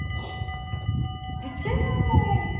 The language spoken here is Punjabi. ਵਿੱਚੋਂ ਹੀ phone ਲਾਇਆ ਸੀ।